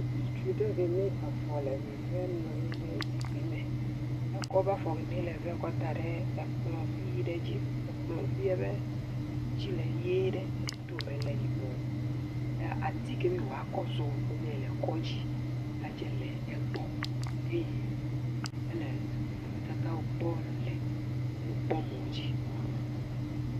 Ŋutsu ɖe keme afɔ le vevem nɔ anyi ɖe zikpui me. Ekɔ eƒe afɔ keme nɔ vem la da ɖe kplɔ̃ vi aɖe dzi. Kplɔ̃ vi dzi le ʋie ɖe edome le yibɔ ya ati kemi woakɔ zɔ wonɛ le kɔdzi le egbɔ eye ele nɔnɔmetatawo kpɔm le nukpɔmɔ dzi.